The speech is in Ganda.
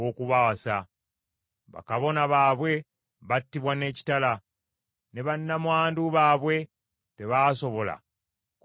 Bakabona baabwe battibwa n’ekitala, ne bannamwandu baabwe tebaasobola kubakungubagira.